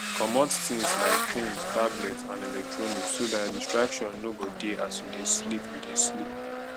comot things like phones tablet and electronics so dat distraction no go dey as you dey sleep you dey sleep